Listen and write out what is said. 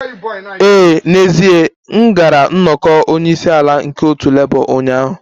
Ee, n'ezie m gara nnọkọ onye isi ala nke otu Labour ụnyaahụ